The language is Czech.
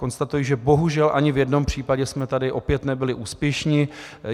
Konstatuji, že bohužel ani v jednom případě jsme tady opět nebyli úspěšní.